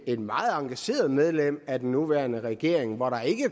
et meget engageret medlem af den nuværende regering og der